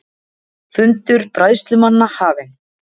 Fundur bræðslumanna hafinn